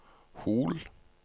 Hol